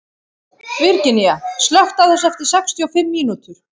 Virginía, slökktu á þessu eftir sextíu og fimm mínútur.